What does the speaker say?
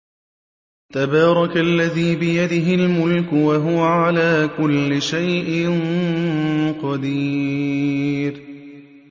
تَبَارَكَ الَّذِي بِيَدِهِ الْمُلْكُ وَهُوَ عَلَىٰ كُلِّ شَيْءٍ قَدِيرٌ